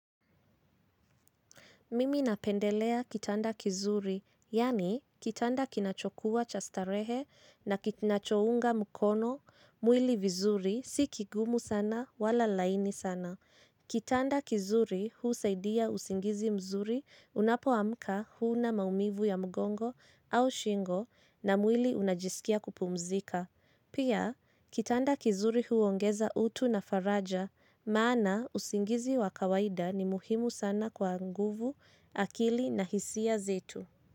Mimi napendelea kitanda kizuri, yaani kitanda kinachokuwa cha starehe na kinachounga mkono, mwili vizuri, si kigumu sana wala laini sana. Kitanda kizuri husaidia usingizi mzuri, unapoamka huna maumivu ya mgongo au shingo na mwili unajisikia kupumzika. Pia, kitanda kizuri huongeza utu na faraja, maana usingizi wa kawaida ni muhimu sana kwa nguvu, akili na hisia zetu.